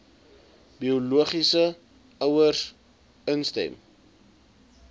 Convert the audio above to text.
biologiese ouers instem